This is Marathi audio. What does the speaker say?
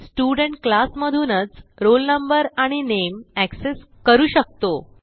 स्टुडेंट क्लास मधूनच roll no आणि नामे एक्सेस करू शकतो